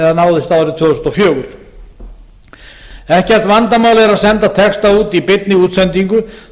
eða náðist árið tvö þúsund og fjögur ekkert vandamál er að senda texta út í beinni útsendingu